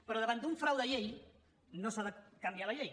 però davant d’un frau de llei no s’ha de canviar la llei